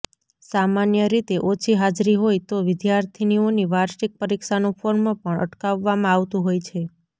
સામાન્ય રીતે ઓછી હાજરી હોય તો વિદ્યાર્થીઓની વાર્ષિક પરીક્ષાનું ફોર્મ પણ અટકાવવામાં આવતુ હોય છે